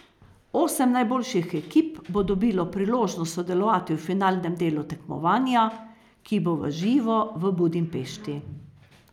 Osem najboljših ekip bo dobilo priložnost sodelovati v finalnem delu tekmovanja, ki bo v živo v Budimpešti.